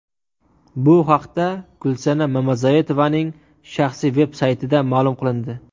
Bu haqda Gulsanam Mamazoitovaning shaxsiy veb saytida ma’lum qilindi .